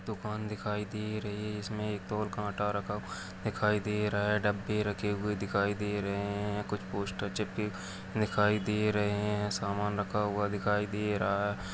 दुकान दिखाई दे रही हैइसमें एक तो ओर काटा रखा हुआ दिखाई दे रहा हैडब्बे रखे दिखाई दे रहे है कुछ पोस्टर चिपके दिखाई दे रहे है सामान रखा हुआ दिखाई दे रहा है।